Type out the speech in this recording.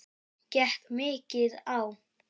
Gekk mikið á?